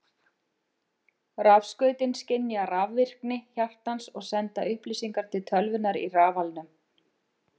Rafskautin skynja rafvirkni hjartans og senda upplýsingar til tölvunnar í rafalnum.